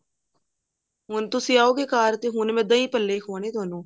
ਹੁਣ ਤੁਸੀਂ ਆਓਗੇ ਘਰ ਤੇ ਹੁਣ ਮੈਂ ਦਹੀਂ ਹੱਲੇ ਖਵਾਉਣੇ ਥੋਨੂੰ